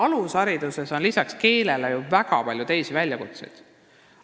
Alushariduses on ju lisaks keelele väga palju teisi väljakutseid.